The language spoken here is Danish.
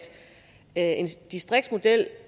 en distriktsmodel